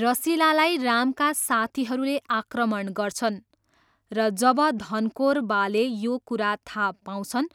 रसिलालाई रामका साथीहरूले आक्रमण गर्छन् र जब धनकोर बाले यो कुरा थाहा पाउँछन्,